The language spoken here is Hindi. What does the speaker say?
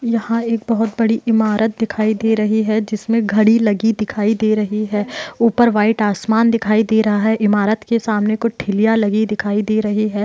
यहां एक बहुत बड़ी इमारत दिखाई दे रही है जिसमे घड़ी लगी दिखाई दे रही है। ऊपर व्हाइट आसमान दिखाई दे रहा है इमारत के सामने कुछ ठेलिया लगी दिखाई दे रहे है।